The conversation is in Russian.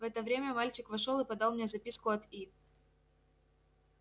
в это время мальчик вошёл и подал мне записку от и